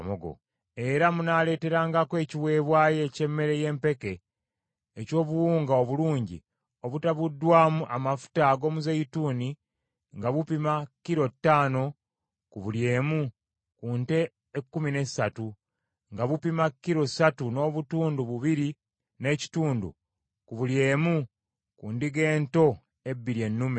Era munaaleeterangako ekiweebwayo eky’emmere y’empeke eky’obuwunga obulungi obutabuddwamu amafuta ag’omuzeeyituuni, nga bupima kilo ttaano ku buli emu ku nte ekkumi n’essatu, nga bupima kilo ssatu n’obutundu bubiri n’ekitundu ku buli emu ku ndiga ento ebbiri ennume;